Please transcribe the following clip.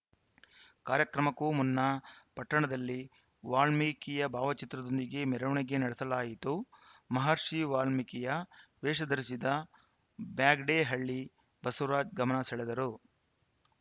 ಕಾರ್ಯಕ್ರಮಕ್ಕೂ ಮುನ್ನಾ ಪಟ್ಟಣದಲ್ಲಿ ವಾಲ್ಮೀಕಿಯ ಭಾವಚಿತ್ರದೊಂದಿಗೆ ಮೆರವಣಿಗೆ ನಡೆಸಲಾಯಿತು ಮಹರ್ಷಿ ವಾಲ್ಮೀಕಿಯ ವೇಷಧರಿಸಿದ ಬ್ಯಾಗಡೇಹಳ್ಳಿ ಬಸವರಾಜ್‌ ಗಮನ ಸೆಳೆದರು